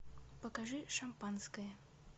покажи шампанское